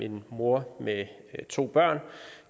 en mor med to børn